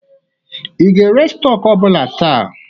I ga-ere stọk ọ bụla taa?